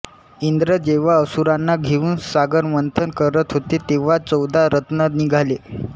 इंद्र जेव्हा असुरांना घेऊन सागरमंथन करत होते तेव्हा चौदा रत्न निघाले